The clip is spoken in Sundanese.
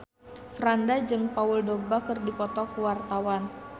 Franda jeung Paul Dogba keur dipoto ku wartawan